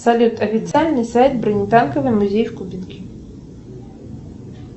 салют официальный сайт бронетанковый музей в кубинке